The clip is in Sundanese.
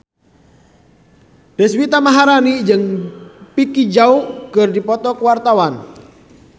Deswita Maharani jeung Vicki Zao keur dipoto ku wartawan